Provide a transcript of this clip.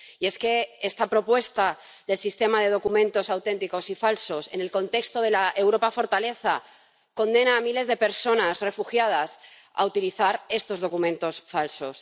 Y es que esta propuesta de Sistema Documentos Auténticos y Falsos en Red, en el contexto de la Europa fortaleza, condena a miles de personas refugiadas a utilizar estos documentos falsos.